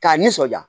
K'a nisɔndiya